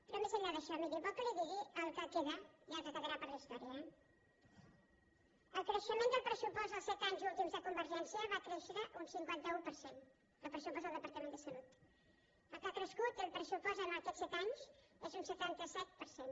però més enllà d’això miri vol que li digui el que queda i el que quedarà per a la història el creixement del pressupost dels set anys últims de convergència i unió va créixer un cinquanta un per cent del pressupost del departament de salut el que ha crescut el pressupost en aquest set anys és un setanta set per cent